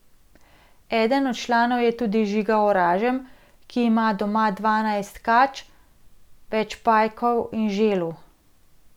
Eden od članov je tudi Žiga Oražem, ki ima doma dvanajst kač, več pajkov in želv.